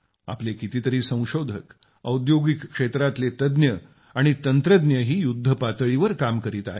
आपले कितीतरी संशोधक औद्योगिक क्षेत्रातले तज्ज्ञ आणि तंत्रज्ञही युद्धपातळीवर काम करीत आहेत